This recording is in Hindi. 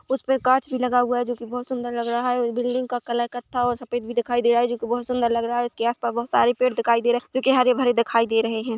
उसपे कांच भी लगा हुआ है जो बहुत सुंदर लग रहा है उस बिल्डिंग का कलर कत्था और सफ़ेद दिखाई दे रहा है जो बहुत सुंदर लग रहा है उसके आस पास बहुत सारे पेड़ दिखाई दे रहे हैं जो बहुत हरे भरे दिखाई दे रहे हैं।